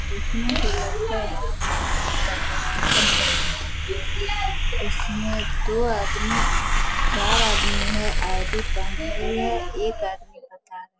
डेकने से लगता है यहाँ पर कोई चीज़ का चल रहा है उसमे दो आदमी है चार आदमी है एक आदमी मकान --